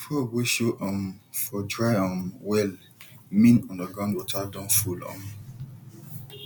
frog wey show um for dry um well mean underground water don full um